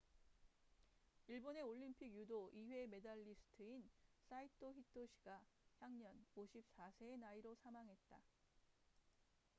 일본의 올림픽 유도 2회 메달리스트인 사이토 히토시가 향년 54세의 나이로 사망했다